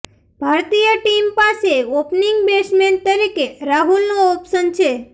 ભારતીય ટીમ પાસે opening batsman તરીકે રાહુલનો ઓપ્શન છે